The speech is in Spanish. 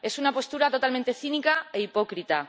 Es una postura totalmente cínica e hipócrita.